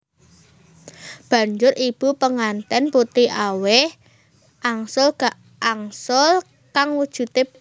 Banjur ibu penganten putri aweh angsul angsul kang wujude panganan